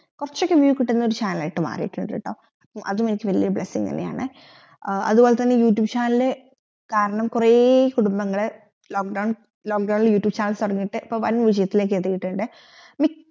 കൊറച്ചൊക്കെ view കിട്ടുന്ന channel ആയിട്ട് മാറീട്ടുണ്ട് ട്ടോ അതും എനിക്ക് വെല്യ blessing ന്നെയാണ് അത്പോലെ തന്നെ യൂട്യൂബ് channel കാരണം കൊറേ കുടുംബങ്ങൾ lock down lock down ഇൽ യൂട്യൂബ് channel തുടങ്ങീട്ട് ഇപ്പൊ വാൻ വിജയത്തിലേക്കു എത്തീട്ടിണ്ട് മിക്ക